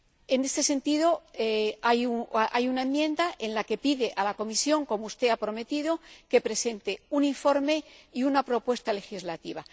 En este sentido, hay una enmienda en la que se pide a la Comisión, como usted ha prometido, que presente un informe y una propuesta legislativa.